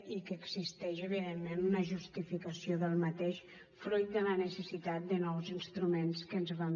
i n’existeix evidentment una justificació fruit de la necessitat de nous instruments que ens vam